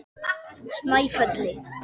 Snæfelli